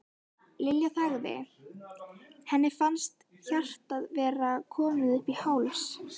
Lilla þagði, henni fannst hjartað vera komið upp í háls.